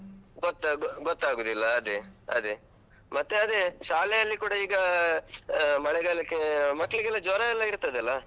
ಗೊತ್ತಾ~ ಗೊತ್ತಾಗುದಿಲ್ಲ ಅದೇ ಅದೇ, ಮತ್ತೆ ಅದೇ ಶಾಲೆಯಲ್ಲಿ ಕೂಡ ಈಗ ಆಹ್ ಮಳೆಗಾಲಕ್ಕೆ ಮಕ್ಳಿಗೆಲ್ಲ ಜ್ವರ ಎಲ್ಲ ಇರ್ತದೆ ಅಲ್ಲ.